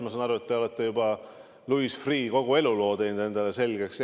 Ma saan aru, et te olete kogu Louis Freeh' eluloo endale selgeks teinud.